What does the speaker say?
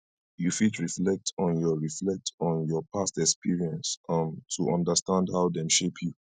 you fit reflect on your reflect on your past experience um to understand how dem shape you